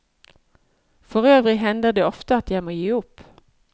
Forøvrig hender det ofte at jeg må gi opp.